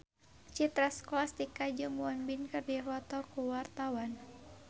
Citra Scholastika jeung Won Bin keur dipoto ku wartawan